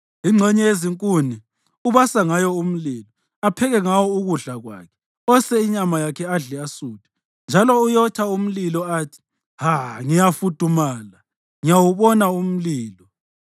Ingxenye yezinkuni ubasa ngayo umlilo, apheke ngawo ukudla kwakhe. Ose inyama yakhe adle asuthe. Njalo uyotha umlilo athi, “Ha! Ngiyafudumala; ngiyawubona umlilo.”